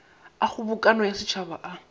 a kgobokano ya setšhaba a